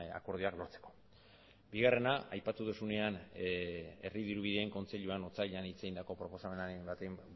akordioak lortzeko bigarrena aipatu duzunean herri dirubideen kontseiluan otsailean hitz egindako proposamenaren bati